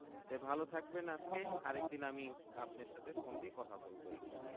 ভালো থাকবেন আজকে আর একদিন আমি আপনার সাথে phone দিয়ে কথা বলবো ইনশাআল্লাহ